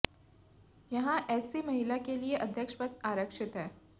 यहां एससी महिला के लिए अध्यक्ष पद आरक्षित है